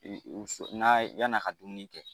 N'a ye yann'a ka dumuni kɛ